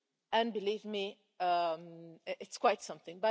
And believe me, it's quite something.